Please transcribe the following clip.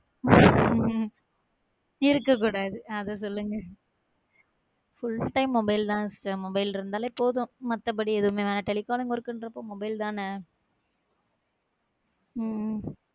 இருக்கக் கூடாது அத சொல்லுங்க full time mobile தான் sister mobile இருந்தாலே போதும். மத்தபடி எதுவுமே வேணா~ telecom ங்குற இருக்குறப்போ mobile தானே?